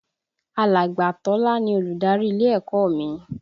Alàgbà Tọ́lá ni Olùdarí ilé ẹ̀kọ́ mi